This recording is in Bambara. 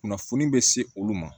Kunnafoni be se olu ma